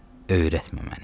Öyrətmə məni.